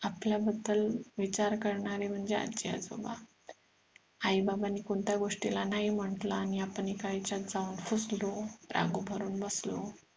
आपल्या बद्दल विचार करणारे म्हणजे आजी आजोबा आई बाबांनी कोणत्या गाष्टींला नाही म्हंटले आणि आपण एका याच्यात जाऊन रुसलो रागे भरून बसलो